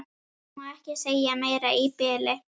Ég má ekki segja meira í bili.